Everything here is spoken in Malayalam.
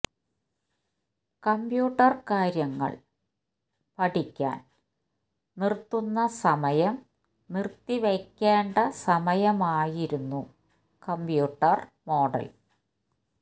കമ്പ്യൂട്ടർ കാര്യങ്ങൾ പഠിക്കാൻ നിർത്തുന്ന സമയം നിർത്തിവയ്ക്കേണ്ട സമയമായിരുന്നു കമ്പ്യൂട്ടർ മോഡൽ